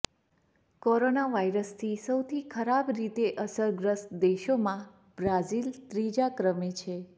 corona વાયરસથી સૌથી ખરાબ રીતે અસરગ્રસ્ત દેશોમાં બ્રાઝિલ ત્રીજા ક્રમે છે